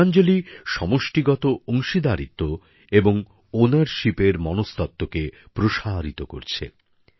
বিদ্যাঞ্জলি সমষ্টিগত অংশীদারিত্ব এবং মালিকানার মনস্তত্ত্বকে প্রসারিত করছে